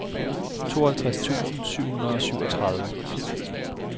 tooghalvtreds tusind syv hundrede og syvogtredive